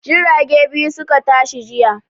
Jirage biyu su ka tashi jiya.